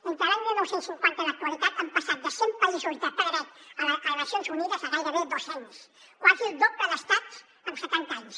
entre l’any dinou cinquanta i l’actualitat hem passat de cent països de ple dret a les nacions unides a gairebé dos cents quasi el doble d’estats amb setanta anys